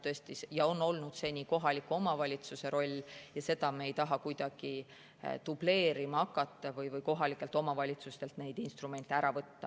See on olnud seni kohaliku omavalitsuse roll ja seda me ei taha kuidagi dubleerima hakata või kohalikelt omavalitsustelt neid instrumente ära võtta.